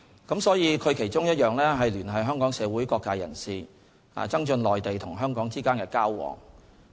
中聯辦的其中一項職能是聯繫香港社會各界人士，增進內地與香港之間的交往。